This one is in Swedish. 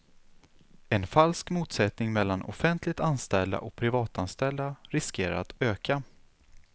En falsk motsättning mellan offentligt anställda och privatanställda riskerar att öka.